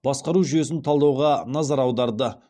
басқару жүйесін талдауға назар аударды